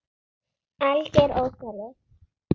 Alger óþarfi.